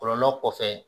Kɔlɔlɔ kɔfɛ